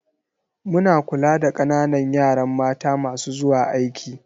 Muna kula da ƙananan yaran mata masu zuwa aiki.